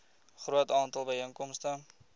groot aantal byeenkomste